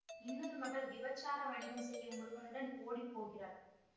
இன்னொரு மகள் விபச்சார வணிகம் செய்யும் ஒருவனுடன் ஓடிப்போகிறாள்